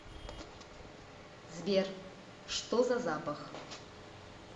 сбер что за запах